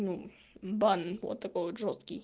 ну в бан вот такой вот жёсткий